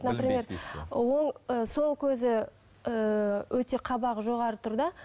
например оң ы сол көзі ыыы өте қабағы жоғары тұр да